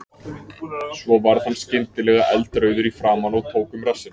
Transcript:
Svo varð hann skyndilega eldrauður í framan og tók um rassinn.